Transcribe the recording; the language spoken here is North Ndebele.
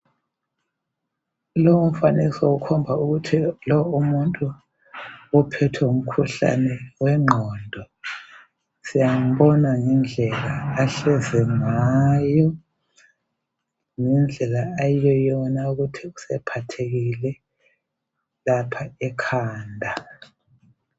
Lo umfanekiso ukhomba ukuthi lo umuntu uphethwe ngumkhuhlane wengqondo. Siyambona ngendlela ahlezi ngayo, ngendlela ayiyoyona ukuthi usephathekile lapha ekhanda.